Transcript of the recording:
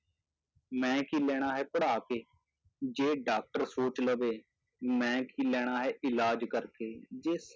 ਮੈਂ ਕੀ ਲੈਣਾ ਹੈ ਪੜ੍ਹਾ ਕੇ, ਜੇ doctor ਸੋਚ ਲਵੇ ਮੈਂ ਕੀ ਲੈਣਾ ਹੈ ਇਲਾਜ਼ ਕਰਕੇ, ਜੇ